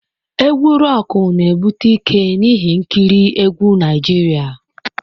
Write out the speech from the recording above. Egwu Roku na-ebute ike n'ihe nkiri egwu Naijiria.